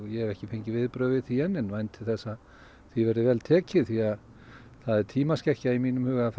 ég hef ekki fengið viðbrögð við því enn en ég vænti þess að því verði vel tekið því það er tímaskekkja í mínum huga að